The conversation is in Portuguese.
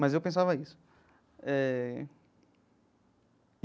Mas eu pensava isso eh.